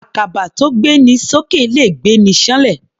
Àkàbà tó gbé ni s'ókè le gbé'ni ṣán'lẹ̀.